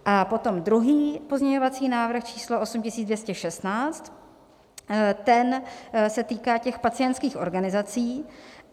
A potom druhý pozměňovací návrh číslo 8216, ten se týká těch pacientských organizací.